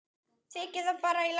Þykir það bara í lagi.